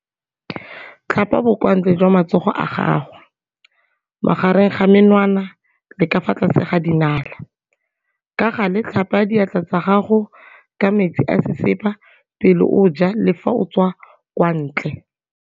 Tlhapa bokwantle jwa matsogo a gago, magareng ga menwana le ka fa tlase ga dinala. Ka gale tlhapa diatla tsa gago ka metsi a sesepa pele o ja le fa o tswa kwa ntle.